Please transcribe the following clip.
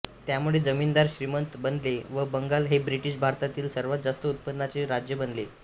त्यामुळे जमीनदार श्रीमंत बनले व बंगाल हे ब्रिटीश भारतातील सर्वात जास्त उत्पन्नाचे राज्य बनले